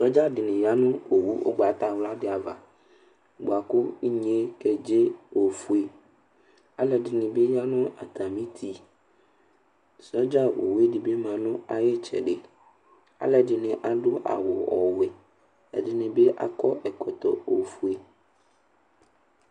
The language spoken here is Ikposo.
Soldier ɖi ya ŋu owu ihɛni ɖi ava bʋakʋ inye kedze ɔfʋe Alʋɛdìní bi ya ŋu atami ʋti Soldier owu ɖìbi ma ŋu ayʋ itsɛɖi Alʋɛdìní aɖu awu ɔwɛ Ɛɖìní bi akɔ ɛkɔtɔ ɔfʋe